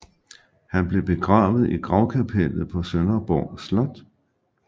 Han blev begravet i Gravkapellet på Sønderborg Slot